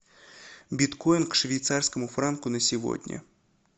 биткоин к швейцарскому франку на сегодня